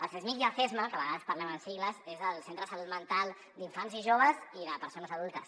el csmij i el csma que a vegades parlem amb sigles és el centre de salut mental d’infants i joves i de persones adultes